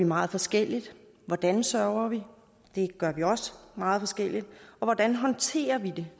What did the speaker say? meget forskelligt hvordan sørger vi det er også meget forskelligt og hvordan håndterer vi